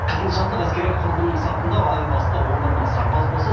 қызылжарлық әскери құрылымның сапында әу баста он бір мың сарбаз болса